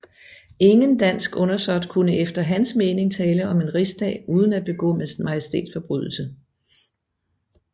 Ingen dansk undersåt kunne efter hans mening tale om en rigsdag uden at begå majestætsforbrydelse